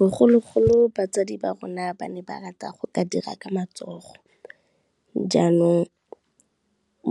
Bogologolo batsadi ba rona ba ne ba rata go ka dira ka matsogo jaanong,